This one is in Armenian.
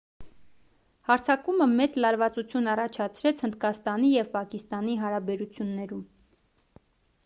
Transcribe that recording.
հարձակումը մեծ լարվածություն առաջացրեց հնդկաստանի և պակիստանի հարաբերություններում